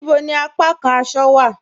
Níbò ni àpàkàn àṣọ̀ wa?